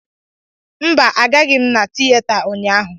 Mba, agaghị m na tịyeta ụnyaahụ